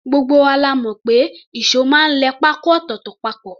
Gbogbo wa la mọ̀ pé ìṣó máa ń lẹ pákó ọ̀tọ̀ọ̀tọ̀ papọ̀